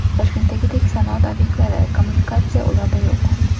Toshkentdagidek sanoat obyektlari, kommunikatsiya ularda yo‘q.